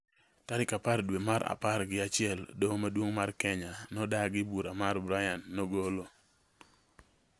Tarik apar dwe mar apar gi achiel, Doho Maduong’ mar Kenya nodagi bura ma Brian nogolo